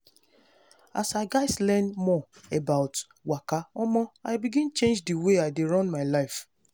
as i gatz learn more about waka omo i begin change the way i dey run my life.